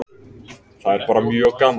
Það er bara mjög gaman.